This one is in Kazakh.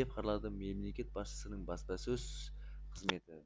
деп хабарлады мемлекет басшысының баспасөз қызметі